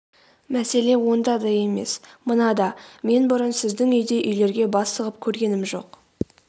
мәселе онда да емес мынада мен бұрын сіздің үйдей үйлерге бас сұғып көргенім жоқ